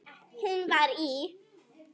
Hún var í